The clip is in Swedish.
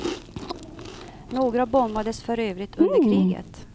Några bombades för övrigt under kriget.